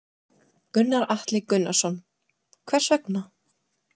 Gunnar Atli Gunnarsson: Hvers vegna?